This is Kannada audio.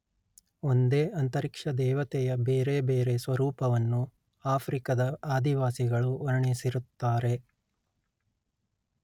ಒಂದೇ ಅಂತರಿಕ್ಷ ದೇವತೆಯ ಬೇರೆ ಬೇರೆ ಸ್ವರೂಪವನ್ನು ಆಫ್ರಿಕದ ಆದಿವಾಸಿಗಳು ವರ್ಣಿಸಿರುತ್ತಾರೆ